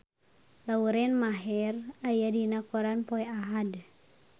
Lauren Maher aya dina koran poe Ahad